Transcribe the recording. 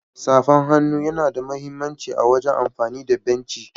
Safan hannu yana da mahimmanci a wagen amfani da benci.